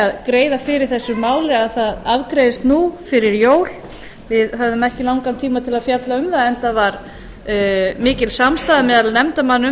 að greiða fyrir þessu máli að það afgreiðist nú fyrir jól við höfðum ekki langan tíma til að fjalla um það en það var mikil samstaða meðal nefndarmanna um